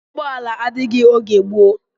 Ụgbọala adịghị oge gboo